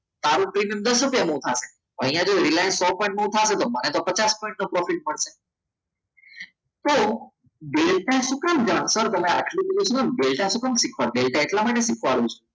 સારો પ્રીમિયમ દસ રૂપિયાનું અહીંયા જો રિલાયન્સ થશે તો મને તો પચાસ પોઇંટનો profit મળશે તો ડેલ્ટાનું શું કામ transfer તમે તમે આટલું બધું સર તમે આટલું બધું શું કામ ડેલ્ટા શું કામ શીખવાનું? ડેલ્ટા એટલા માટે શીખવાડું છું